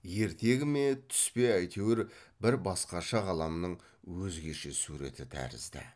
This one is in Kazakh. ертегі ме түс пе әйтеуір бір басқаша ғаламның өзгеше суреті тәрізді